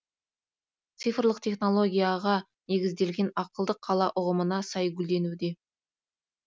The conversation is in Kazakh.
цифрлық технологияға негізделген ақылды қала ұғымына сай гүлденуде